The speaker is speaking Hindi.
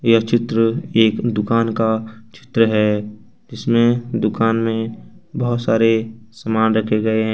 यह चित्र एक दुकान का चित्र है जिसमें दुकान में बहुत सारे सामान रखे गए हैं।